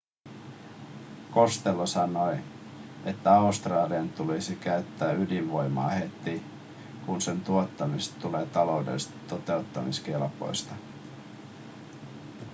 costello sanoi että australian tulisi käyttää ydinvoimaa heti kun sen tuottamisesta tulee taloudellisesti totuttamiskelpoista